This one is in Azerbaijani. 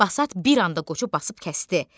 Basat bir anda qoçu basıb kəsdi.